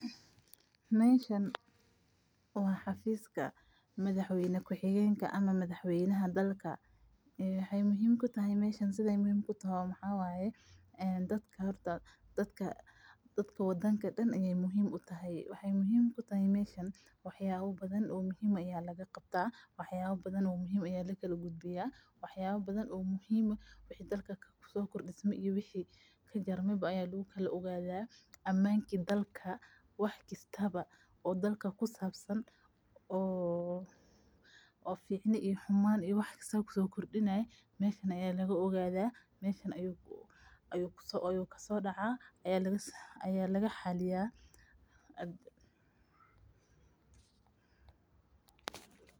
Meeshan wa xafiska madaxweyne kuxigenka ama madaxweynaha wadanka wexey muhiim kutahay wax waye oo dadka wadanka oo daan ayey muhiim utahay waxyabo badan muhiim aya lagaqabta aya lakagudbiya wax yalo kalo muhiim eh wixi dalka kusokordisma aya iyo wixi kajarmo aya lugukala ogada amanka dalka iyo waxa kusabsan oo ficni iyo xuman kusokordinayo meeshan aya lagaogada meesha aya kasodaca.